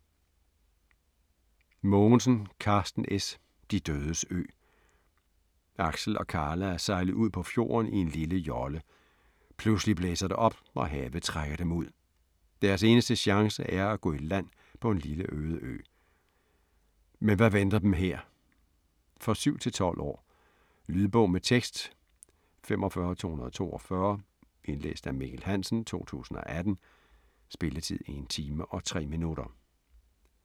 Mogensen, Karsten S.: De dødes ø Aksel og Karla er sejlet ud på fjorden i en lille jolle. Pludselig blæser det op, og havet trækker dem ud. Deres eneste chance er at gå i land på en lille øde ø. Men hvad venter dem her? For 9-12 år. Lydbog med tekst 45242 Indlæst af Mikkel Hansen, 2018. Spilletid: 1 time, 3 minutter.